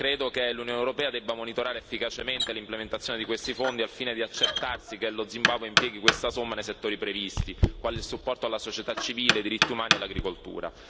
Credo che l'Unione europea debba monitorare efficacemente l'implementazione di questi fondi al fine di accertarsi che lo Zimbabwe impieghi questa somma nei settori previsti, quali il supporto alla società civile, i diritti umani e l'agricoltura.